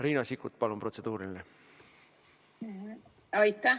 Riina Sikkut, palun, protseduuriline küsimus!